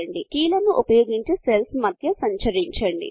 కీలను ఉపయోగించి సెల్ల్స్ మధ్య సంచరించండి